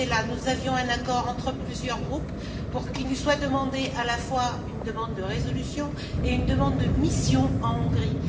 Pittella nous avions conclu un accord entre plusieurs groupes pour que nous soient demandées à la fois une demande de résolution et une demande de mission en Hongrie.